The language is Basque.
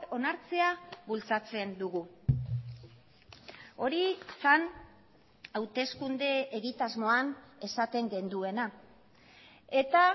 onartzea bultzatzen dugu hori zen hauteskunde egitasmoan esaten genuena eta